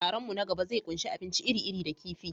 Taron mu na gaba zai ƙunshi abinci iri-iri da kifi.